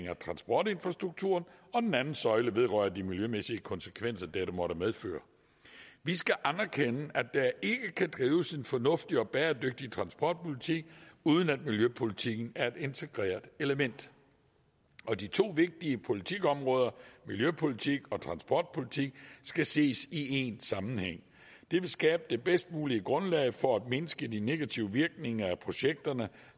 af transportinfrastrukturen og den anden søjle vedrører de miljømæssige konsekvenser dette måtte medføre vi skal anerkende at der ikke kan drives en fornuftig og bæredygtig transportpolitik uden at miljøpolitikken er et integreret element og de to vigtige politikområder miljøpolitik og transportpolitik skal ses i en sammenhæng det vil skabe det bedst mulige grundlag for at mindske de negative virkninger af projekterne